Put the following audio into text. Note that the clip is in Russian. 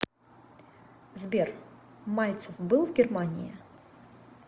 сбер мальцев был в германии